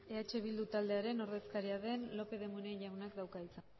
eh bildu taldearen ordezkaria den lópez de munain jaunak dauka hitza